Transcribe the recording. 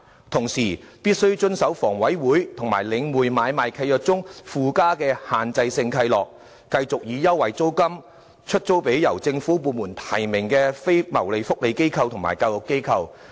同時，新業主必須遵守房委會及領匯買賣契約中附加的"限制性契諾"，繼續以優惠租金把商鋪空間出租予由政府部門提名的非牟利社福及教育機構。